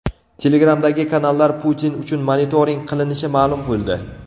Telegram’dagi kanallar Putin uchun monitoring qilinishi ma’lum bo‘ldi.